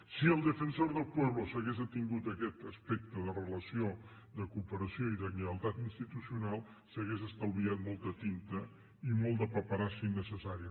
si el defensor del pueblo s’hagués atingut a aquest aspecte de relació de cooperació i de lleialtat institucional s’hauria estalviat molta tinta i molta paperassa innecessària